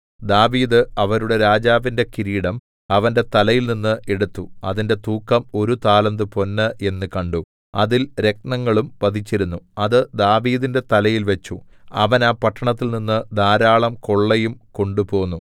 ദാവീദ് അവരുടെ രാജാവിന്റെ കിരീടം അവന്റെ തലയിൽനിന്നു എടുത്തു അതിന്റെ തൂക്കം ഒരു താലന്ത് പൊന്ന് എന്നു കണ്ടു അതിൽ രത്നങ്ങളും പതിച്ചിരുന്നു അത് ദാവീദിന്റെ തലയിൽ വെച്ചു അവൻ ആ പട്ടണത്തിൽനിന്നു ധാരാളം കൊള്ളയും കൊണ്ടുപോന്നു